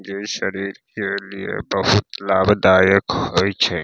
जे शरीर के लिए बहुत लाभदायक होय छै।